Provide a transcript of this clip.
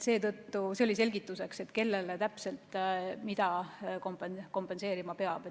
See oli selgituseks, kellele täpselt mida kompenseerima peab.